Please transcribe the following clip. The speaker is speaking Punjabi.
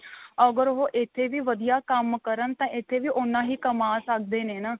ਅਗਰ ਉਹ ਇੱਥੇ ਵੀ ਵਧੀਆ ਕੰਮ ਕਰਨ ਤਾਂ ਇੱਥੇ ਵੀ ਉਨਾਂ ਹੀ ਕਮਾ ਸਕਦੇ ਨੇ ਨਾ.